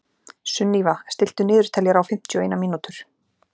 Sunníva, stilltu niðurteljara á fimmtíu og eina mínútur.